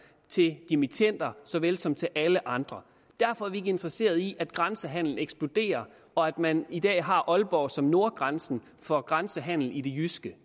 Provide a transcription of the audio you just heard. til dimittender så vel som til alle andre derfor er vi ikke interesseret i at grænsehandelen eksploderer og at man i dag eksempelvis har aalborg som nordgrænse for grænsehandelen i det jyske